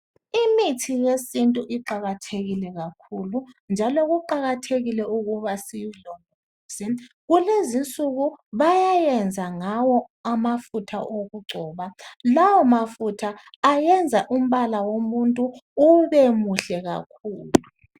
Imithi yesintu iqakathekile kakhulu njalo kuqakathekile ukuba siyilondoloze. Kulezi insuku bayayenza ngawo amafutha okugcoba lawo mafutha ayenza umbala womuntu ube muhle kakhulu.